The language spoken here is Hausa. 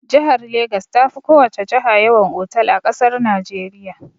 Jihar Legas ta fi ko wace jiha yawan otal a ƙasar Najeriya.